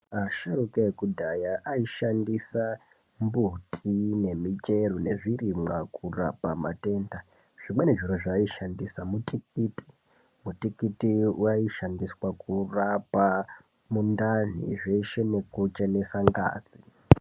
Asharauka ekudhaya aishandisa mbuti ne michero nezvi rimwa kurapa matenda zvimweni zviro zva ayi shandisa mutikiti mutikiti wai shandiswa kurapa mundani zveshe neku chenesa ngazi.